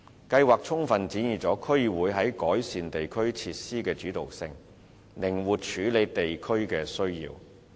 計劃充分展現區議會在改善地區設施的主導性，靈活處理地區需要。